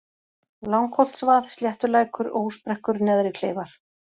Langholtsvað, Sléttulækur, Ósbrekkur, Neðrikleifar